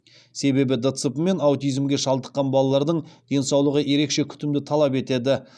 себебі дцп мен аутизмге шалдыққан балалардың денсаулығы ерекше күтімді талап етеді